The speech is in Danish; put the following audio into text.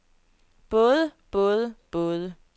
både både både